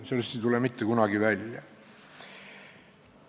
Sellest ei tule kunagi midagi välja.